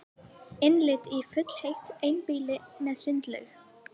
Innlit í funheitt einbýli með sundlaug